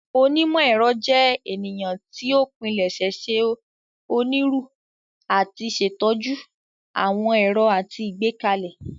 Onímọ̀-ẹ̀rọ jẹ ènìyàn tí o pilẹṣẹ ṣe oniru ati ṣetọju ,awọn ẹrọ àti Igbekale.